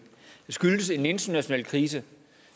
skyldes en international krise